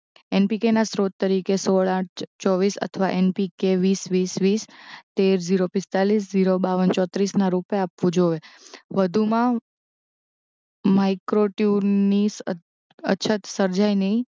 એનપીકેના સ્ત્રોત તરીકે સોળ આઠ ચોવીસ અથવા એનપીકે વીસ વીસ વીસ તેર જીરો પિસ્તાલીસ જીરો બાવ્વન ચોત્રીસના રુપે આપવું જોવે વધુમાં માઇક્રોટ્યુનીસ ની અછત સર્જાય નહિ